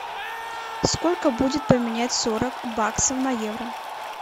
сколько будет поменять сорок баксов на евро